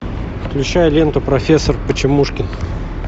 включай ленту профессор почемушкин